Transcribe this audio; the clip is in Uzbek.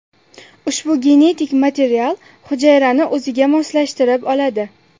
Ushbu genetik material hujayrani o‘ziga moslashtirib oladi.